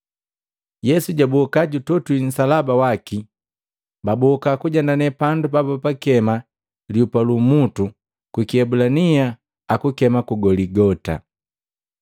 Yesu jaboka jutotwi nsalaba waki, baboka kujendane pandu pabapakema, “Lihupa lu umutu,” kwi kiebulania akukema ku Goligota.